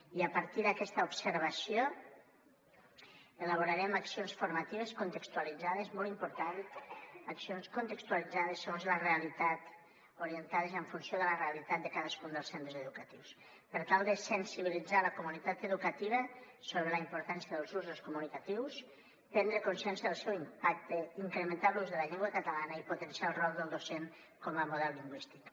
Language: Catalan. i a partir d’aquesta observació elaborarem accions formatives contextualitzades molt important segons la realitat orientades en funció de la realitat de cadascun dels centres educatius per tal de sensibilitzar la comunitat educativa sobre la importància dels usos comunicatius prendre consciència del seu impacte incrementar l’ús de la llengua catalana i potenciar el rol del docent com a model lingüístic